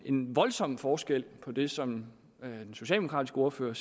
en voldsom forskel på det som den socialdemokratiske ordfører